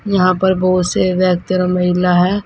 यहां पर बहुत से व्यक्ति लोग है।